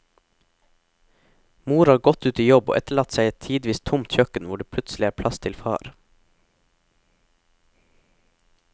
Mor har gått ut i jobb og etterlatt seg et tidvis tomt kjøkken hvor det plutselig er plass til far.